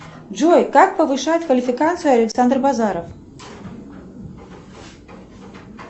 джой как повышает квалификацию александр базаров